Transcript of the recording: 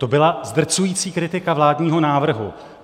To byla zdrcující kritika vládního návrhu.